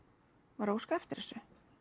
var að óska eftir þessu